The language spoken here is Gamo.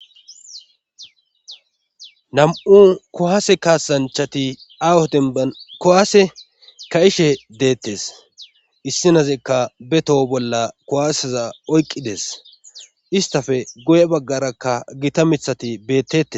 nam7u kowaase kaasanchati awoden akowaase ka ishe deettes issinazekka betoho bolla kowaaseza oyqqides istafe goye baggarakka gita mithati bettete